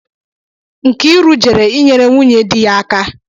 Nkiru jere inyere nwunye dị ya aka